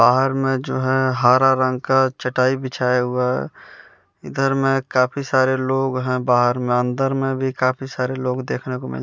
बाहर में जो है हरा रंग का चटाई बिछाया हुआ इधर में काफी सारे लोग हैं बाहर में अंदर में भी काफी सारे लोग देखने को मिल--